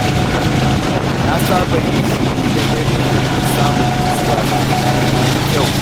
Na saba yin shiru da dare domin samun nutsuwa da tunani mai kyau.